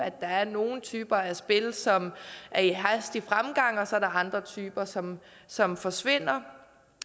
at der er nogle typer af spil som er i hastig fremgang og så er andre typer som som forsvinder